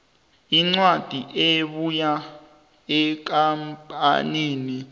incwadi ebuya ekampanini